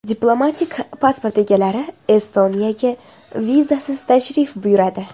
Diplomatik pasport egalari Estoniyaga vizasiz tashrif buyuradi.